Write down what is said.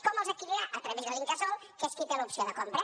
com els adquirirà a través de l’incasòl que és qui té l’opció de compra